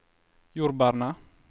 jordbærene